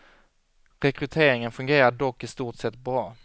Rekryteringen fungerar dock i stort sett bra.